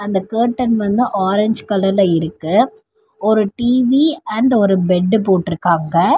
இந்த கேட்டன் வந்து ஆரஞ்ச் கலர்ல இருக்கு. ஒரு டி_வி அண்டு ஒரு பெட்டு போட்டுருக்காங்க.